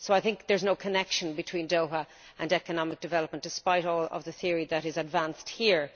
So I think there is no connection between Doha and economic development, despite all of the theory that is advanced here.